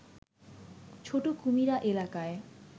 ছোট কুমিরা এলাকায়